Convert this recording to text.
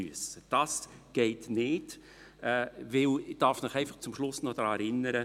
» Das geht nicht, denn ich darf Sie zum Schluss einfach noch daran erinnern: